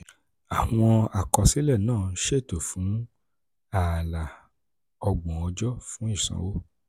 àwọn àkọsílẹ̀ náà ṣètò fún um ààlà ọgbọ̀n ọjọ́ fún ìsanwó.